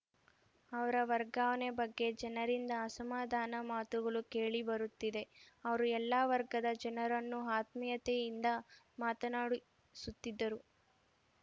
ಅವರ ವರ್ಗಾವಣೆ ಬಗ್ಗೆ ಜನರಿಂದ ಅಸಮಾಧಾನ ಮಾತುಗಳು ಕೇಳಿ ಬರುತ್ತಿದೆ ಅವರು ಎಲ್ಲ ವರ್ಗದ ಜನರನ್ನು ಆತ್ಮೀಯತೆಯಿಂದ ಮಾತನಾಡಿಸುತ್ತಿದ್ದರು